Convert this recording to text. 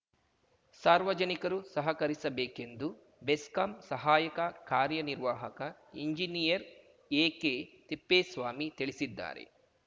ಸಾರ್ವಜನಿಕರು ಸಹಕರಿಸಬೇಕೆಂದು ಬೆಸ್ಕಾಂ ಸಹಾಯಕ ಕಾರ್ಯನಿರ್ವಾಹಕ ಇಂಜಿನಿಯರ್‌ ಎಕೆತಿಪ್ಪೇಸ್ವಾಮಿ ತಿಳಿಸಿದ್ದಾರೆ